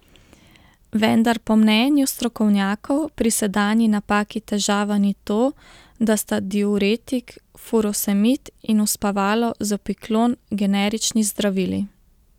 Vendar po mnenju strokovnjakov pri sedanji napaki težava ni to, da sta diuretik furosemid in uspavalo zopiklon generični zdravili.